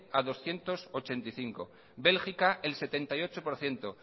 a doscientos ochenta y cinco bélgica el setenta y ocho por ciento